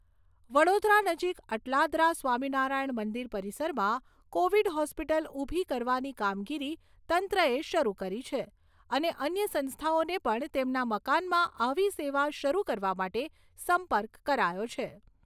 વડોદરા નજીક અટલાદરા સ્વામિનારાયણ મંદિર પરિસરમાં કોવિડ હોસ્પિટલ ઊભી કરવાની કામગીરી તંત્રએ શરૂ કરી છે અને અન્ય સંસ્થાઓને પણ તેમના મકાનમાં આવી સેવા શરૂ કરવા માટે સંપર્ક કરાયો છે.